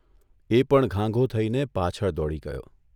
એ પણ ઘાંઘો થઇને પાછળ દોડી ગયો.